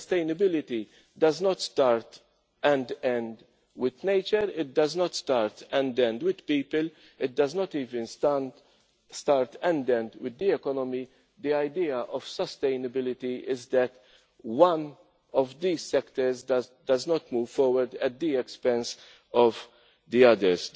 Sustainability does not start and end with nature, it does not start and end with people, it does not even start and end with the economy. The idea of sustainability is that one of these sectors does not move forward at the expense of the others.